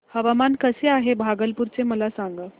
हवामान कसे आहे भागलपुर चे मला सांगा